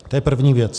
To je první věc.